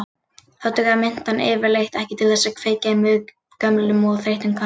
Þá dugar mintan yfirleitt ekki til þess að kveikja í mjög gömlum og þreyttum köttum.